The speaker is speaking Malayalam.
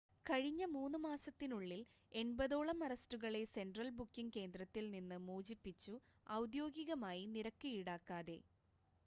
കഴിഞ്ഞ 3 മാസത്തിനുള്ളിൽ 80 ഓളം അറസ്റ്റുകളെ സെൻട്രൽ ബുക്കിംഗ് കേന്ദ്രത്തിൽ നിന്ന് മോചിപ്പിച്ചു ഔദ്യോഗികമായി നിരക്ക് ഈടാക്കാതെ